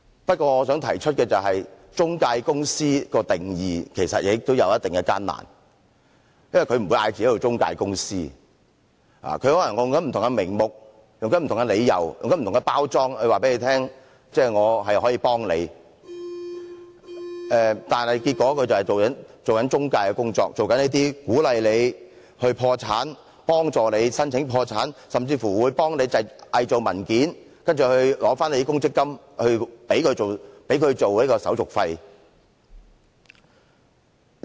不過，我想提出的是，就中介公司作出定義，其實也有一定困難，因為它不會自稱為中介公司，它可能會利用不同名目、理由和包裝，然後告訴你它可以幫忙，但結果卻是做中介的工作，鼓勵你破產、幫助你申請破產，甚至幫忙偽造文件，然後提取你的強積金作為它的手續費。